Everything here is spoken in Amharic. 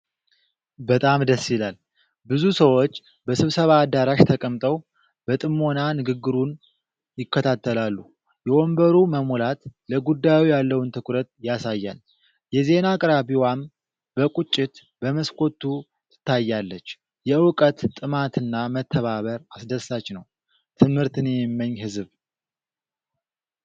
በጣም ደስ ይላል! ብዙ ሰዎች በስብሰባ አዳራሽ ተቀምጠዋል። በጥሞና ንግግሩን ይከታተላሉ። የወንበሩ መሙላት ለጉዳዩ ያለውን ትኩረት ያሳያል። የዜና አቅራቢዋም በቁጭት በመስኮቱ ትታያለች። የዕውቀት ጥማትና መተባበር አስደሳች ነው። ትምህርትን የሚመኝ ህዝብ!